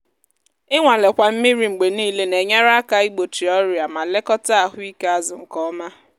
ịnwalekwa mmiri mgbe niile na-enyere aka igbochi ọrịa ma lekọta ahụ ike azụ nke ọma.